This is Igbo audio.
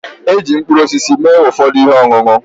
Eji mkpụrụosisi mee ụfọdụ ihe ọṅụṅụ